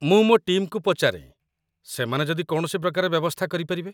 ମୁଁ ମୋ ଟିମ୍‌କୁ ପଚାରେଁ ସେମାନେ ଯଦି କୌଣସି ପ୍ରକାରେ ବ୍ୟବସ୍ଥା କରିପାରିବେ।